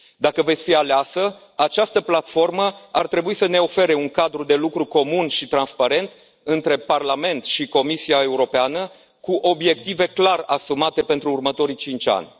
Dacă veți fi aleasă, această platformă ar trebui să ne ofere un cadru de lucru comun și transparent între Parlament și Comisia Europeană, cu obiective clar asumate pentru următorii 5 ani.